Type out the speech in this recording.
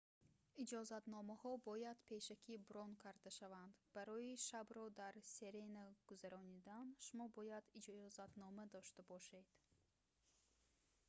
иҷозатномаҳо бояд пешакӣ брон карда шаванд барои шабро дар серена гузарондан шумо бояд иҷозатнома дошта бошед